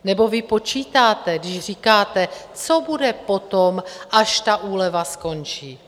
Nebo vy počítáte, když říkáte, co bude potom, až ta úleva skončí?